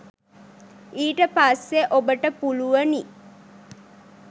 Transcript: ඊට පස්සේ ඔබට පුළුවනි